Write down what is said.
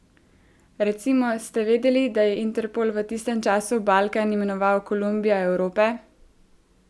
Recimo, ste vedeli, da je Interpol v tistem času Balkan imenoval Kolumbija Evrope?